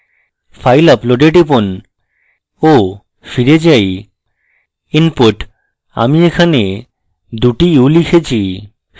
file upload এ টিপুন ohফিরে যাই inputআমি এখানে 2 u s লিখেছি